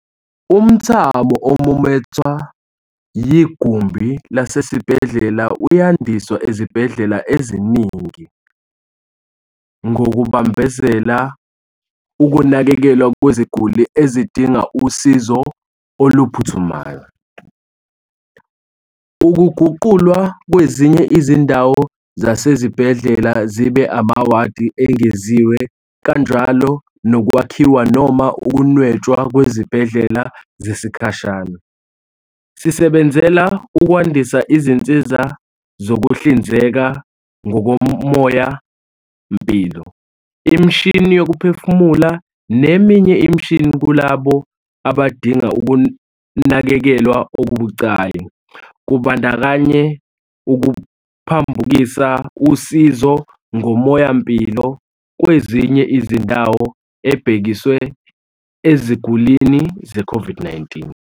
Umthamo omumathwa yigumbi lasesibhedlela uyandiswa ezibhedlela eziningi ngokubambezela ukunakekelwa kweziguli ezingadingi usizo oluphuthumayo, ukuguqulwa kwezinye izindawo zasezibhedlela zibe amawadi engeziwe kanjalo nokwakhiwa noma ukunwetshwa kwezibhedlela zesikhashana. Sisebenzela ukwandisa izinsiza zokuhlinzeka ngomoyampilo, imishini yokuphefumula neminye imishini kulabo abadinga ukunakekelwa okubucayi, kubandakanya ukuphambukisa usizo ngomoyampilo kwezinye izindawo ubhekiswe ezigulini ze-COVID-19.